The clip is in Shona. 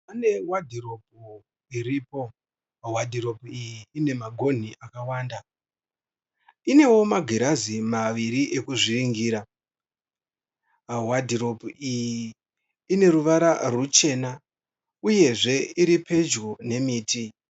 Pane wadhiropu iripo. Wadhiropu iyi inemagonhi akawanda. Inewo magirazi maviri ekuzviringira. Wadhiropu iyi ineruvara rwuchena uyezve iripedyo nemiti.